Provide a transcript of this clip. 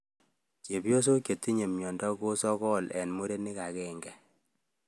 Chepyosok chetindoi miondo ko sokol eng muren akenge